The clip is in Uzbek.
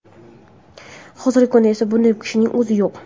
Hozirgi kunda esa bunday kishining o‘zi yo‘q.